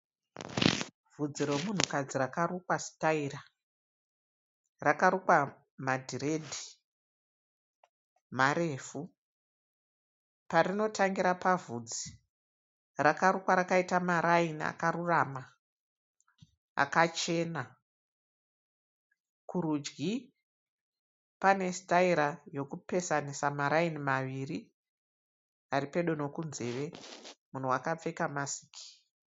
Vhudzi romunhukadzi rakarukwa sitaira. Rakarukwa madhiredhi marefu. Parinotangira pavhudzi, rakarukwa rakaita maraini akarurama akachena. Kurudyi panesitaira yekupesanisa maraini maviri aripedo nekunzeve. Munhu wakapfeka masiki.